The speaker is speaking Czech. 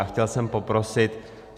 A chtěl jsem poprosit.